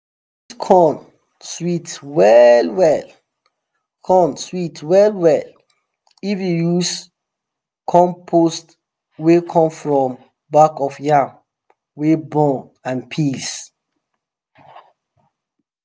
sweet corn sweet well-well corn sweet well-well if you use compost wey come from back of yam wey burn and peels